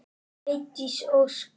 Eydís Ósk.